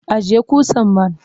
Ajiye ƙusar man!